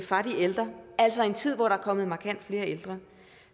fra de ældre altså i en tid hvor der er kommet markant flere ældre